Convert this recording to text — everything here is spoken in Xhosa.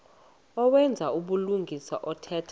owenza ubulungisa othetha